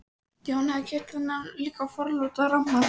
Jón hafði keypt þennan líka forláta ramma.